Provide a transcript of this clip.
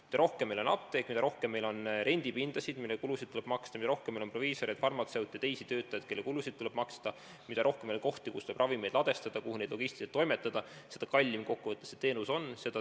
Mida rohkem on meil apteeke, mida rohkem on meil rendipindasid, mille eest tuleb maksta, mida rohkem on meil proviisoreid, farmatseute ja teisi töötajaid, kelle tööjõukulud tuleb kinni maksta, mida rohkem on meil kohti, kus tuleb ravimeid ladestada ja kuhu neid on vaja logistiliselt toimetada, seda kallim see teenus kokkuvõttes on.